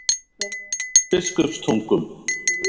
Biskupstungum